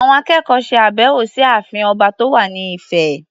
Àwọn akẹ́kọ̀ọ́ ṣe àbẹ̀wọ̀ sí ààfin ọba tó wà ní Ifẹ̀.